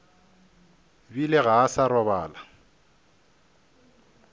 bile ga a sa robala